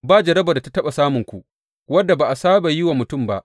Ba jarrabar da ta taɓa samunku, wadda ba a saba yi wa mutum ba.